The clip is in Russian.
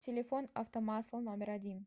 телефон автомасла номер один